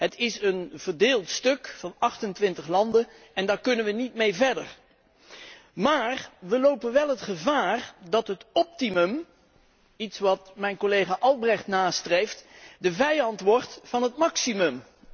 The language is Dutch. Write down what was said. Het is een verdeeld stuk van 28 landen en daar kunnen we niet mee verder. Maar we lopen wel het gevaar dat het optimale iets wat collega Albrecht nastreeft de vijand wordt van het maximale.